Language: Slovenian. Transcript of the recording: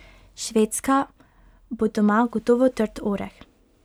Švedska bo doma gotovo trd oreh.